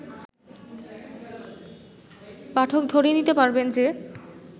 পাঠক ধরে নিতে পারবেন যে